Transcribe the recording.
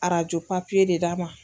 Arajo papiye de d'a ma.